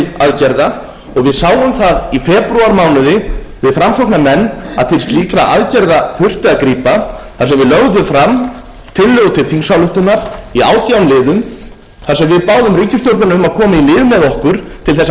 aðgerða og við sáum það í febrúarmánuði við framsóknarmenn að til slíkra aðgerða þurfti að grípa þar sem við lögðum fram tillögu til þingsályktunar í átján liðum þar sem við báðum ríkisstjórnina um að koma í lið með okkur til þess að